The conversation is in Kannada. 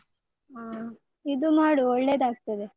ಹ ಇದು ಮಾಡು ಒಳ್ಳೆದಾಗ್ತದೆ.